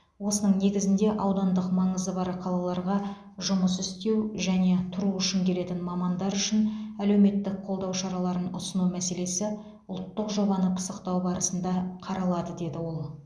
осының негізінде аудандық маңызы бар қалаларға жұмыс істеу және тұру үшін келетін мамандар үшін әлеуметтік қолдау шараларын ұсыну мәселесі ұлттық жобаны пысықтау барысында қаралады деді ол